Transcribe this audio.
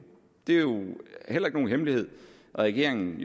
det er jo heller ikke nogen hemmelighed at regeringen